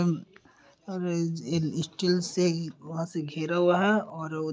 और स्टील से यहाँ से ही घिरा हुआ है और --